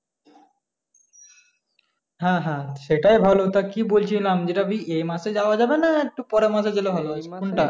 হ্যাঁ হ্যাঁ হ্যাঁ সেটাই ভালো তা কি বলছিলাম এটা কি এ মাসে যাওয়া যাবে না একটু পরের মাসে গেলে ভালো হয় কোনটা?